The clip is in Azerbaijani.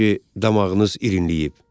Çünki damağınız irinləyib.